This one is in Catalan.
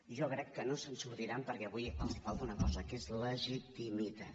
jo crec que no se’n sortiran perquè avui els falta una cosa que és legitimitat